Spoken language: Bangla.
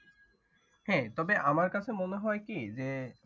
হ্যাঁ তবে আমার কাছে মনে হয় কি যে।